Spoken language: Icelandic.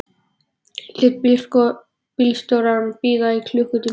Ég lét bílstjórann bíða í klukkutíma.